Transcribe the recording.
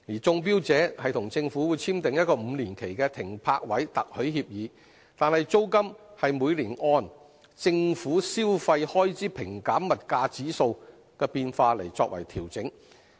中標者與政府簽訂5年期的《停泊位特許協議》，但租金是每年按"政府消費開支平減物價指數"的變化調整。